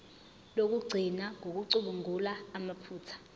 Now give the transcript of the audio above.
lokugcina ngokucubungula amaphutha